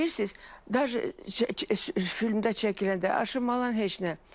Bilirsiz, dərc filmdə çəkiləndə aşılanan heç nə.